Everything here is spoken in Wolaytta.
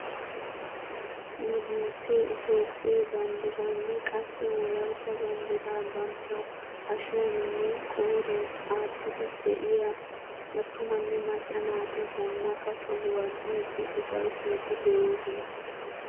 Nu biittee itoophphee banddiraanne qassi wolaytta banddiraa bantta hashiyaaninne qooriyan aattiidi de'iyaa attumanne macca naati zanaqqa sohuwaa biidi ufayttiidi de'oosona.